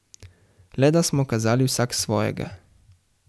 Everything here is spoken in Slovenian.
Le da smo kazali vsak svojega.